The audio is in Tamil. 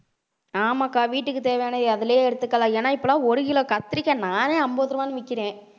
ஆமாக்கா வீட்டுக்கு தேவையான அதிலேயே எடுத்துக்கலாம் ஏன்னா இப்பெல்லாம் ஒரு kilo கத்திரிக்காய் நானே அம்பது ரூபாய்ன்னு விக்கிறேன்